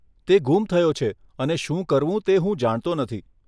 તે ગુમ થયો છે અને શું કરવું તે હું જાણતો નથી.